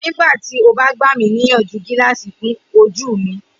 Nigbati o ba gba mi niyanju gilaasi fun oju mi?